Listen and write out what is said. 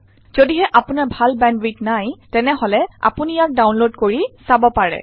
যদিহে আপোনাৰ ভাল বেন্দৱিডথ নাই তেনে আপুনি ইয়া ডাউনলোড কৰিব পাৰে আৰু চাব পাৰে